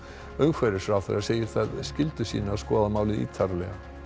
umhverfisráðherra segir það skyldu sína að skoða málið ítarlega